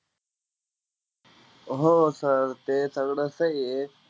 हो sir ते सगळं सहीये.